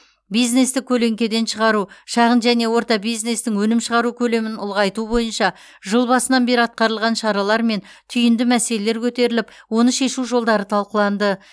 бизнесті көлеңкеден шығару шағын және орта бизнестің өнім шығару көлемін ұлғайту бойынша жыл басынан бері атқарылған шаралар мен түйінді мәселелер көтеріліп оны шешу жолдары талқыланды